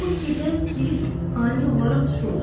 Bu fikirdən Kirisk ani olaraq tutuldu.